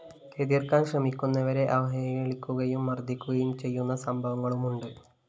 എതിര്‍ക്കാന്‍ ശ്രമിക്കുന്നവരെ അവഹേളിക്കുകയും മര്‍ദ്ദിക്കുകയും ചെയ്യുന്ന സംഭവങ്ങളുമുണ്ട്